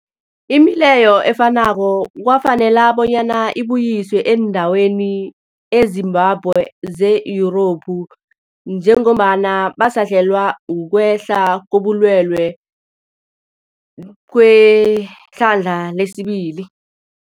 Imileyo efanako kwafanela bonyana ibuyiswe eendaweni ezimbalwa ze-Yurophu njengombana basahlelwa, kukwehla kobulwele kwehlandla lesibili.